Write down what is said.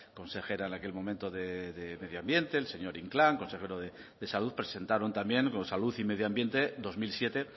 consejera en aquel momento de medio ambiente el señor inclán consejero de salud presentaron también con salud y medio ambiente dos mil siete